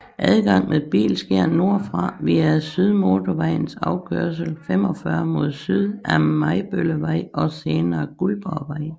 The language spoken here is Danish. Adgang med bil sker nordfra via Sydmotorvejens afkørsel 45 mod syd af Majbøllevej og senere Guldborgvej